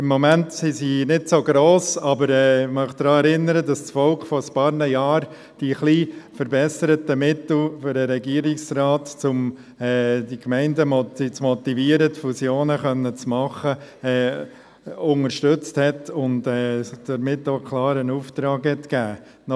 Im Moment sind sie nicht so gross, aber ich möchte daran erinnern, dass das Volk vor ein paar Jahren die ein bisschen verbesserten Mittel für den Regierungsrat, um die Gemeinden zu motivieren, Fusionen machen zu können, unterstützte und somit auch einen klaren Auftrag gab.